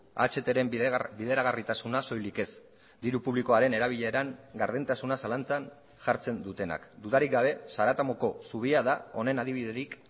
ahtren bideragarritasuna soilik ez diru publikoaren erabileran gardentasuna zalantzan jartzen dutenak dudarik gabe zaratamoko zubia da honen adibiderik